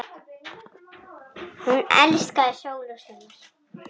Hún elskaði sól og sumar.